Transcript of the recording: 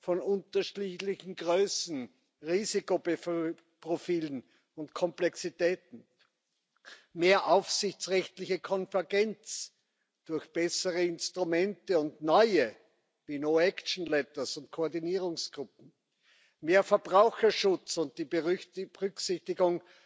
von unterschiedlichen Größen, Risikoprofilen und Komplexitäten, mehr aufsichtsrechtliche Konvergenz durch bessere Instrumente und neue no action letters und Koordinierungsgruppen, mehr Verbraucherschutz und die Berücksichtigung